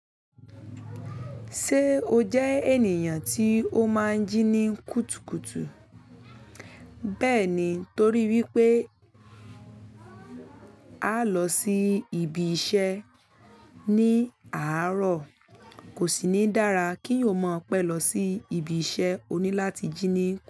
Ṣé o jẹ ènìyàn tí o máa ń jí ní kùtùkùtù? Bẹ́ẹ̀ ni, torí wípé á lọ sí ibi iṣẹ́ ní àárọ̀. Kò sì ní dára ki eyan o maa pẹ́ lọ sí ibi iṣẹ́ oní láti jí ní.